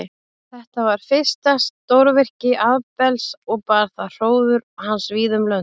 Þetta var fyrsta stórvirki Abels og bar það hróður hans víða um lönd.